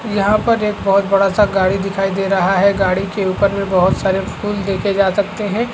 यहाँ पर एक बहुत बड़ा सा गाड़ी दिखाई दे रहा है गाड़ी के ऊपर मे बहुत सारे फुल दिखे जा सकते है।